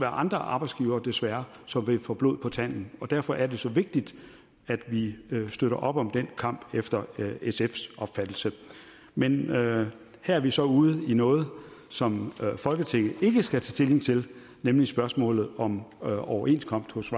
andre arbejdsgivere desværre som vil få blod på tanden og derfor er det så vigtigt at vi støtter op om den kamp efter sfs opfattelse men her er vi så ude i noget som folketinget ikke skal tage stilling til nemlig spørgsmålet om overenskomst hos